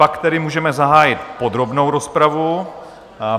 Pak tedy můžeme zahájit podrobnou rozpravu.